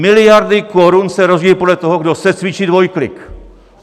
Miliardy korun se rozdělí podle toho, kdo secvičí dvojklik?